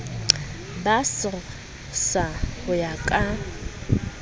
ba srsa ho ya ka